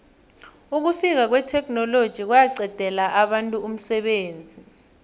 ukufika kwetheknoloji kwaqedela abantu umsebenzi